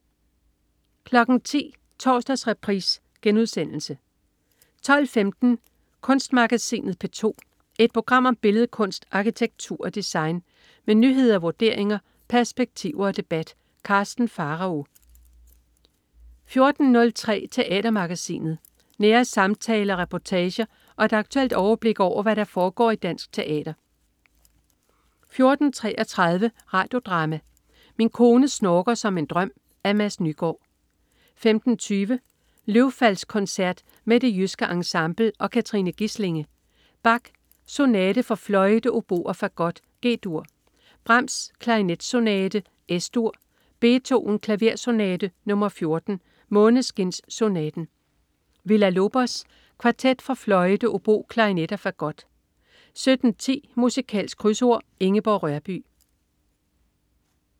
10.00 Torsdagsreprise* 12.15 Kunstmagasinet P2. Et program om billedkunst, arkitektur og design. Med nyheder, vurderinger, perspektiver og debat. Karsten Pharao 14.03 Teatermagasinet. Nære samtaler, reportager og et aktuelt overblik over, hvad der foregår i dansk teater 14.33 Radio Drama: Min kone snorker som en drøm. Af Mads Nygaard 15.20 Løvfaldskoncert med Det Jyske Ensemble og Katrine Gislinge. Bach: Sonate for fløjte, obo og fagot, G-dur. Brahms: Klarinetsonate, Es-dur. Beethoven: Klaversonate nr. 14, Måneskinssonaten. Villa-Lobos: Kvartet for fløjte, obo, klarinet og fagot 17.10 Musikalsk Krydsord. Ingeborg Rørbye